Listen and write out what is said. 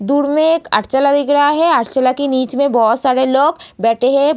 दूर में एक अर्चला दिख रहा है अर्चला के नीच में बहौत सारे लोग बैठे हैं।